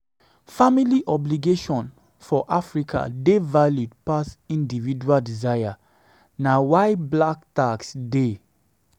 Family obligation for Africa dey valued pass individual desire, na why black tax dey